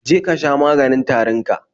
Je ka sha maganin tarin ka